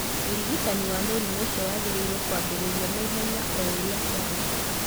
Ũrigitani wa mũrimũ ũcio wagĩrĩirũo kwambĩrĩrio naihenya o ũrĩa kwahoteka.